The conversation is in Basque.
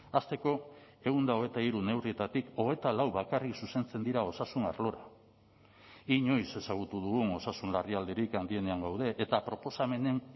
hasteko ehun eta hogeita hiru neurrietatik hogeita lau bakarrik zuzentzen dira osasun arlora inoiz ezagutu dugun osasun larrialdirik handienean gaude eta proposamenen